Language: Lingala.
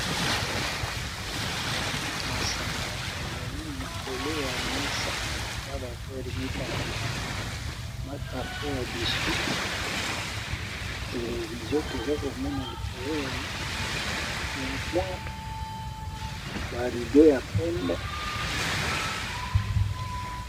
Masanga ezali likolo ya mesa na bavere mibale na karto ya biswi, televizio toza komona likolo ya lumwale, barido ya pembe.